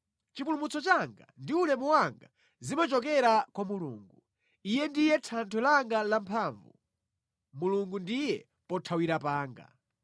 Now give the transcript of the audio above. Chipulumutso changa ndi ulemu wanga zimachokera kwa Mulungu: Iye ndiye thanthwe langa lamphamvu; Mulungu ndiye pothawira panga.